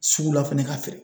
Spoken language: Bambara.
Sugu la fɛnɛ ka feere